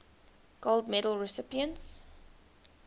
gold medal recipients